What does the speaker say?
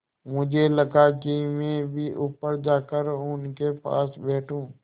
मुझे लगा कि मैं भी ऊपर जाकर उनके पास बैठूँ